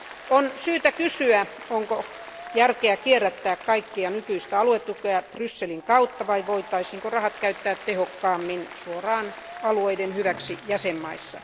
On syytä kysyä, onko järkeä kierrättää kaikkea nykyistä aluetukea Brysselin kautta vai voitaisiinko rahat käyttää tehokkaammin suoraan alueiden hyväksi jäsenvaltioissa.